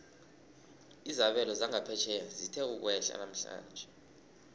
izabelo zangaphetjheya zithe ukwehla namhlanje